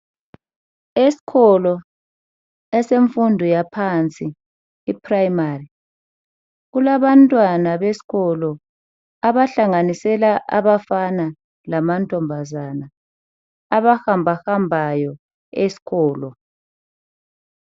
Esikolo esemfundo yaphansi iprimary kulabantwana besikolo abahlanganisela abafana lamantombazana abahambahambayo esikolo.